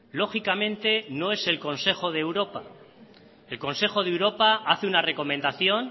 lógicamente no es el consejo de europa el consejo de europa hace una recomendación